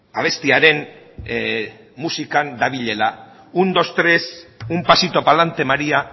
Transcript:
abestiaren musikan dabilela un dos tres un pasito palante maría